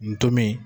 Ntomi